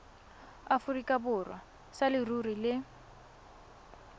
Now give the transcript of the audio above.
aforika borwa sa leruri le